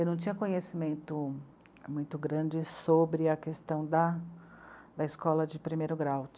Eu não tinha conhecimento muito grande sobre a questão da escola de primeiro grau.